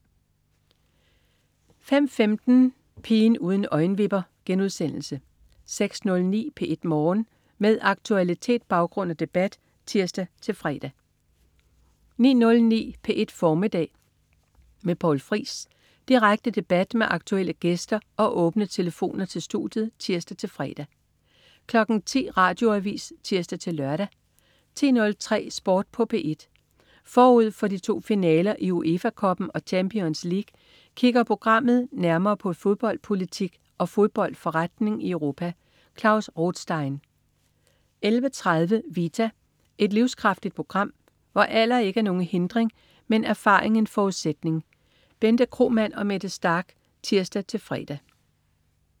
05.15 Pigen uden øjenvipper* 06.09 P1 Morgen. Med aktualitet, baggrund og debat (tirs-fre) 09.09 P1 Formiddag med Poul Friis. Direkte debat med aktuelle gæster og åbne telefoner til studiet (tirs-fre) 10.00 Radioavis (tirs-lør) 10.03 Sport på P1. Forud for de to finaler i UEFA Cuppen og Champions League kigger programmet nærmere på fodboldpolitik og fodboldforretning i Europa. Klaus Rothstein 11.30 Vita. Et livskraftigt program, hvor alder ikke er nogen hindring, men erfaring en forudsætning. Bente Kromann og Mette Starch (tirs-fre)